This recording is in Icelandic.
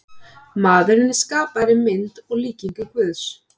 Maðurinn er skapaður í mynd og líkingu Guðs.